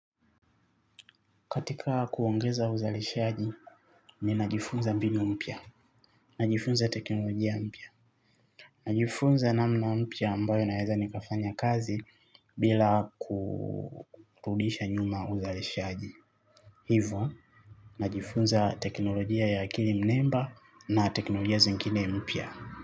Katika kuongeza uzalishaji ninajifunza mbinumpya. Najifunza teknolojia mpya. Najifunza namna mpya ambayo naweza nikafanya kazi bila kurudisha nyuma uzalishaji. Hivo, najifunza teknolojia ya akili mnemba na teknolojia zingine mpya.